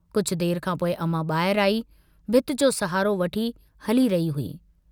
कुझ देर खां पोइ अमां बाहिर आई, भित्ति जो सहारो वठी हली रही हुई।